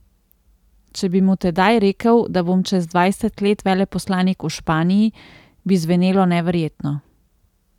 Če bi mu tedaj rekel, da bom čez dvajset let veleposlanik v Španiji, bi zvenelo neverjetno...